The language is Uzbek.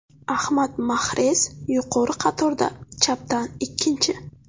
Ahmad Mahrez yuqori qatorda chapdan ikkinchi.